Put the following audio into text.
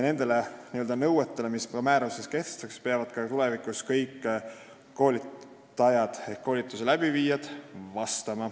Nendele nõuetele, mis määruses kehtestatakse, peavad tulevikus vastama kõik koolitajad ehk koolituse läbiviijad.